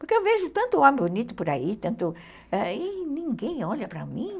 Porque eu vejo tanto homem bonito por aí, tanto... E ninguém olha para mim?